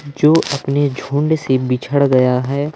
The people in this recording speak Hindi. जो अपने झुंड से बिछड़ गया है।